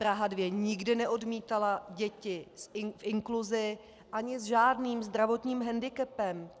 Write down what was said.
Praha 2 nikdy neodmítala děti k inkluzi ani s žádným zdravotním hendikepem.